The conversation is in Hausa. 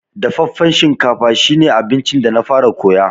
Dafaffen shinkafa shi ne abincin da na fara koya.